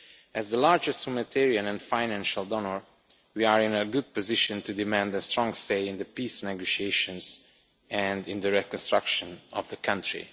As the largest humanitarian and financial donor, we are in a good position to demand a strong say in the peace negotiations and in the reconstruction of the country.